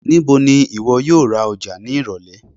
Nibo ni iwọ yoo ra Oja ni irọlẹ?